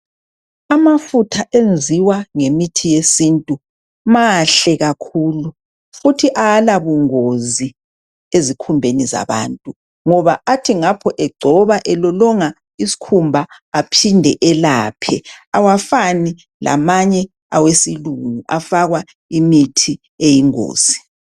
Amafutha enziwa ngemithi yesintu mahle kakhulu futhi awalabungozi ezikhumbeni zabantu, ngoba athi ngapho egcoba elolonga isikhumba aphinde elaphe, awafani lamanye awesilungu afakwa imithi eyingozi.